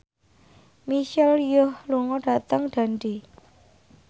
Michelle Yeoh lunga dhateng Dundee